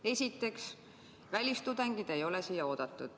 Esiteks, välistudengid ei ole siia oodatud.